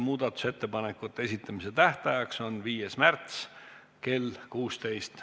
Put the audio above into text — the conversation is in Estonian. Muudatusettepanekute esitamise tähtaeg on 5. märts kell 16.